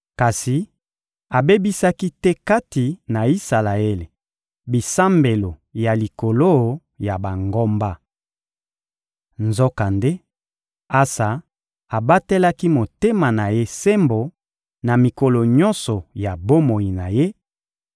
Kasi abebisaki te kati na Isalaele bisambelo ya likolo ya bangomba. Nzokande, Asa abatelaki motema na ye sembo, na mikolo nyonso ya bomoi na ye;